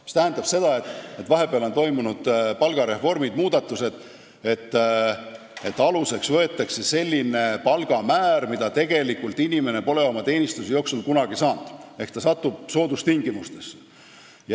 See tähendab seda, et vahepeal on toimunud palgareformid, muudatused ja aluseks võetakse selline palgamäär, mida inimesel ei ole teenistuse jooksul kunagi olnud, ehk ta satub soodustingimustesse.